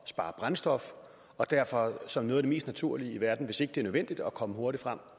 spare brændstof og derfor som noget af det mest naturlige i verden hvis ikke det er nødvendigt at komme hurtigt frem